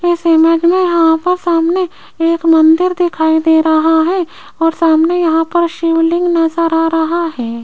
इस इमेज मे यहां पर सामने एक मंदिर दिखाई दे रहा है और सामने यहां पर शिवलिंग नज़र आ रहा है।